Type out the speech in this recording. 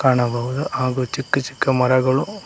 ಕಾಣಬಹುದು ಹಾಗು ಚಿಕ್ಕ ಚಿಕ್ಕ ಮರಗಳು--